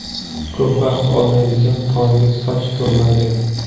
Ko‘p vaqt olmaydigan tonggi soch turmagi.